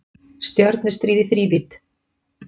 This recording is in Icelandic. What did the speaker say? Stjörnustríð í þrívídd